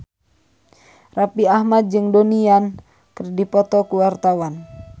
Raffi Ahmad jeung Donnie Yan keur dipoto ku wartawan